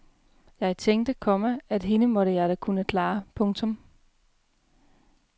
Jeg tænkte, komma at hende måtte jeg da kunne klare. punktum